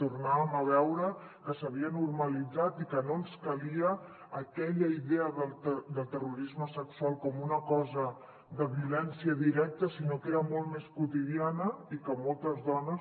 tornàvem a veure que s’havia normalitzat i que no ens calia aquella idea del terrorisme sexual com una cosa de violència directa sinó que era molt més quotidiana i que moltes dones